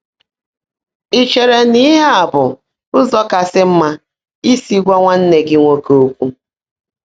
“Ị̀ chèèrè ná íhe á bụ́ ụ́zọ́ kàsị́ mmã ísi gwá nwánnè gị́ nwòké ókwụ́?”